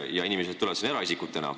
Nii et inimesed tulevad sinna eraisikutena.